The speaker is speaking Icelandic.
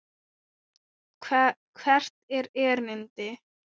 Hvert er erindi?